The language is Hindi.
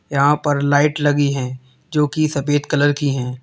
यहां पर लाइट लगी है जो कि सफेद कलर की है।